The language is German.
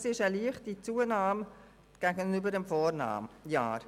Das entspricht einer leichten Zunahme gegenüber dem Vorjahr.